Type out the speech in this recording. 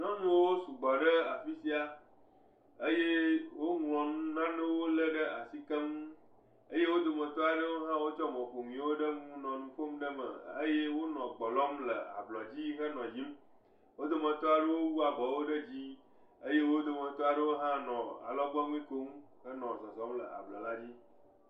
Nyɔnuwo sugbɔ ɖe afi sia eye woŋlɔ nanewo lé ɖe asi keŋ. Eye wo dometɔ aɖewo hã wolé mɔ̃ƒonuwo ɖe nu nɔ nu ƒom ɖe me eye wonɔ gbe lɔm le ablɔdzi henɔ yiyim. Wo dometɔ aɖewo wu abɔwo ɖe dzii eye wo dometɔ aɖewo hã nɔ alɔgbɔnui kom henɔ zɔzɔm le ablɔla dzi.